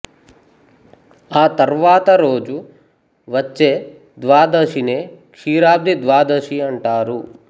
ఆ తర్వాత రోజు వచ్చే ద్వాదశినే క్షీరాబ్ధి ద్వాదశి అంటారు